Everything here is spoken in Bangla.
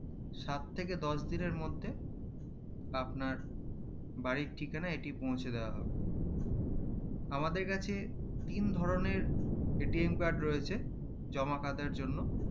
সাত থেকে দশ দিনের মধ্যে আপনার বাড়ির ঠিকানা এটি পৌঁছে দেওয়া হবে আমাদের কাছে তিন ধরণের card রয়েছে জমা খাতার জন্য